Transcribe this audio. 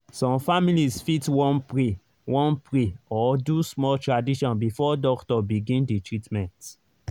some families fit wan pray wan pray or do small tradition before doctor begin the treatment.